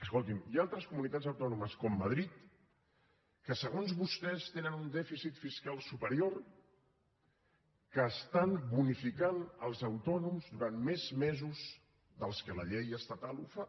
escolti’m hi ha altres comunitats autònomes com madrid que segons vostès tenen un dèficit fiscal superior que estan bonificant els autònoms durant més mesos dels que la llei estatal ho fa